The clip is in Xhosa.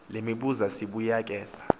le mibuzo sibuyekeza